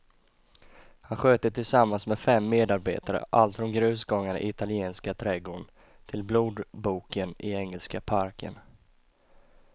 Han sköter tillsammans med fem medarbetare allt från grusgångarna i italienska trädgården till blodboken i engelska parken.